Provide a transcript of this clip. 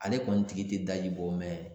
Ale kɔni tigi tɛ daji bɔ